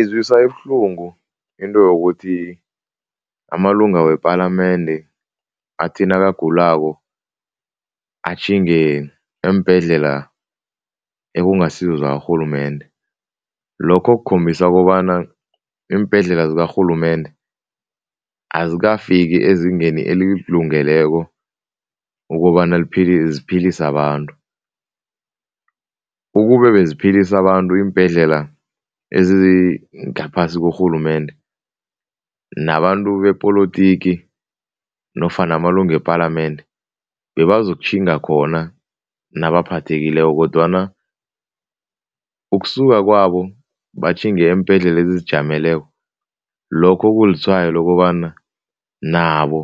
Izwisa ibuhlungu into yokuthi amalunga wepalamende athi nakagulako atjhinge eembhedlela ekungasizo zakarhulumende. Lokho kukhombisa kobana iimbhedlela zakarhulumende azikafiki ezingeni elilungeleko ukobana ziphilise abantu. Ukube beziphilisa abantu iimbhedlela ezingaphasi korhulumende, nabantu bepolotiki nofana amalunga wepalamende bebazokutjhinga khona nabaphathakileko kodwana ukusuka kwabo batjhinge eembhedlela ezizijameleko, lokho kulitshwayo lokobana nabo